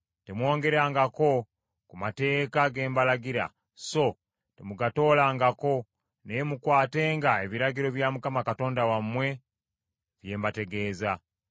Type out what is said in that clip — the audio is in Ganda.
Temwongerangako ku mateeka ge mbalagira, so temugatoolangako, naye mukwatenga ebiragiro bya Mukama Katonda wammwe, bye mbategeeza.